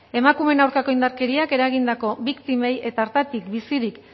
emakumeen aurkako indarkeriak eragindako biktimei eta hartatik bizirik